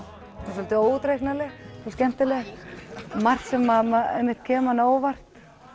svolítið óútreiknanleg og skemmtileg margt sem kemur manni á óvart